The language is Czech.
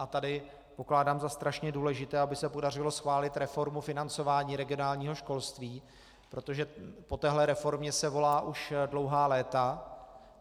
A tady pokládám za strašně důležité, aby se podařilo schválit reformu financování regionálního školství, protože po téhle reformě se volá už dlouhá léta.